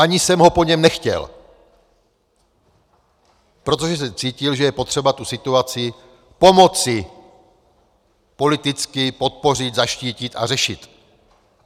Ani jsem ho po něm nechtěl, protože jsem cítil, že je potřeba tu situaci pomoci politicky podpořit, zaštítit a řešit.